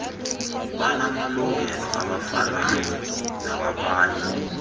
banamalungelo afanayo nawabanye